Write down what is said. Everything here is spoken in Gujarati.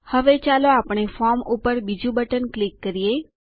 હવે ચાલો આપણે ફોર્મ ઉપર બીજું બટન ક્લિક કરીયે